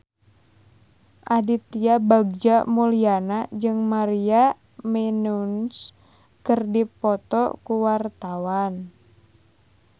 Aditya Bagja Mulyana jeung Maria Menounos keur dipoto ku wartawan